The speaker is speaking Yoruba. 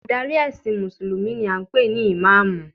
Adarí ẹ̀sìn mùsùlùmí ni a ń pè ní ìmáàmù